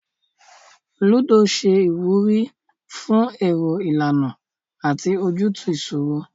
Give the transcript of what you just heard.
Lúdò ṣe ìwúrí fún èrò ìlànà àti ojútùú ìṣòro